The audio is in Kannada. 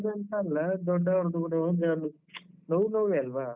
ಅಂತ ಅಲ್ಲ ದೊಡ್ಡವ್ರದ್ದು ಕೂಡ ಹೋದ್ರೆ ನೋವ್ ನೋವೇ ಅಲ್ವಾ?